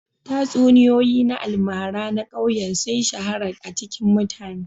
Tatsuniyoyi na almara na ƙauyen sun shahara a cikin mutane